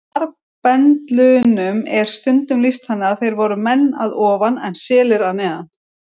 Marbendlunum er stundum lýst þannig að þeir voru menn að ofan en selir að neðan.